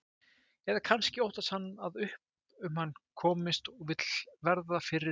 Eða kannski óttast hann að upp um hann komist og vill verða fyrri til.